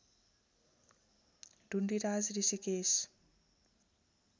Dhundiraj Rishikesh